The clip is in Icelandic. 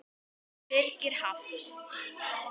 Birgir Hafst.